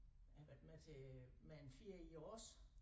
Jeg har været med til øh Mæ en Fiæ i e ås